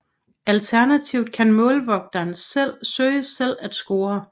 Alternativt kan målvogteren søge selv at score